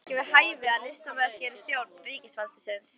Það er ekki við hæfi að listamaður gerist þjónn ríkisvaldsins